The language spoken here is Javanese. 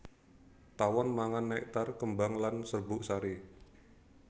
Tawon mangan nektar kembang lan serbuk sari